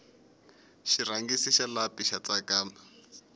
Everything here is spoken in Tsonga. xirhangisi xa lapi xa tsakama